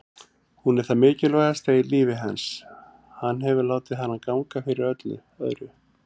Hún er það mikilvægasta í lífi hans, hann hefur látið hana ganga fyrir öllu öðru.